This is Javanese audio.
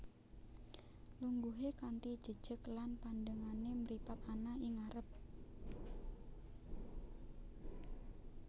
Lungguhe kanthi jejeg lan pandengane mripat ana ing ngarep